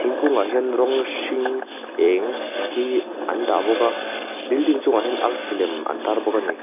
thingkungah hian rawng hring eng hi an dah bawk a building chungah hian arsi lem an tar bawk a ni.